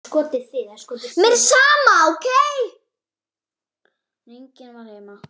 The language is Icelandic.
En enginn var heima.